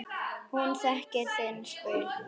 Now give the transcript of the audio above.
Hún þekkir sinn pilt.